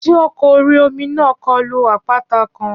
Ṣé ọkọ̀ orí-omi náà kulo àpáta kan?